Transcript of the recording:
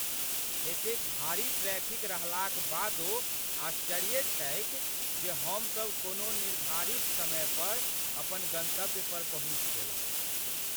एतेक भारी ट्रैफ़िक रहलाक बादो आश्चर्ये छैक जे हमसब कोना निर्धारित समय पर अपन गंतव्य पर पहुँचि गेलहुँ।